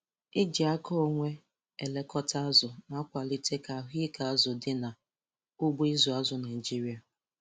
iji aka onwe elekọta azụ na-akwalite ka ahụike azụ dị n' ugbo ịzụ azụ Naịjiria.